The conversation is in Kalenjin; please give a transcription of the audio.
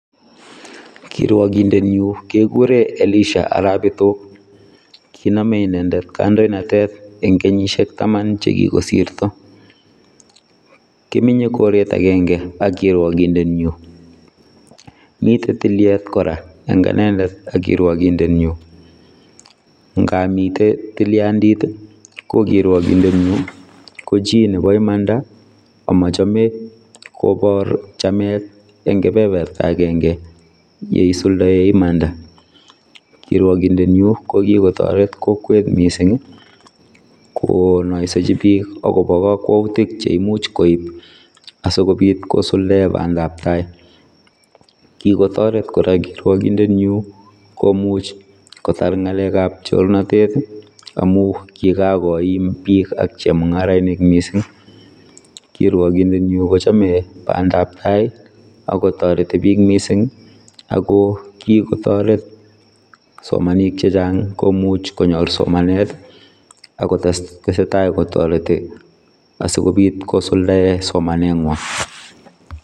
Kiruagindeet nyuun kegureen Elisha arao bitook kinamei inendet kandoinatet eng kenyisiek tamaan che kogosirto kimenye koreet agenge ak kiruagindeet nyuun, miten tilyeet kora eng inendet ak kiruagindeet nyuun ngaap miten tiliantiit ii ko kiruagindeet nyuun ko chii ne bo imanda Amache kobaar chameet eng keberbertaa agenge ye isultaen imaanda kiruagindeet nyuun ko kikotaret kokwet missing ii kenaisejii biik agobo kakwautiik che imuuch koib asikobiit kosuldaen bandap tai , kikotareet kora kiruagindeet nyuun komuuch kotaar ngalek ab chornatet ii amuun kigakoim biik ak chemungaraisiek missing kiruagindeet nyuun kochame bandap tai ii agotaretii biik missing ako kikotareet kipsomaninik che chaang komuuch konyoor somanet ii akotestai kotaretii asikobiit kosuldaen somanet nywaany.